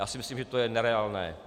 Já si myslím, že to je nereálné.